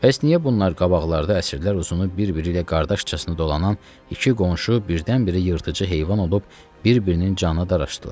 Bəs niyə bunlar qabaqlarda əsrlər uzunu bir-biri ilə qardaşcasına dolanan iki qonşu birdən-birə yırtıcı heyvan olub bir-birinin canına daraşdılar?